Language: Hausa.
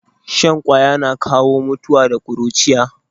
Shan ƙaya na kawo mutuwa da kuruciya